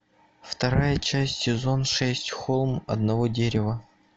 вторая часть сезон шесть холм одного дерева